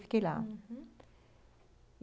Fiquei lá, uhum.